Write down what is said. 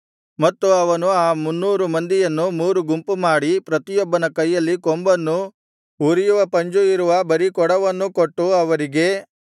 ಮತ್ತು ಅವನು ಆ ಮುನ್ನೂರು ಮಂದಿಯನ್ನು ಮೂರು ಗುಂಪು ಮಾಡಿ ಪ್ರತಿಯೊಬ್ಬನ ಕೈಯಲ್ಲಿ ಕೊಂಬನ್ನೂ ಉರಿಯುವ ಪಂಜು ಇರುವ ಬರಿಕೊಡವನ್ನೂ ಕೊಟ್ಟು ಅವರಿಗೆ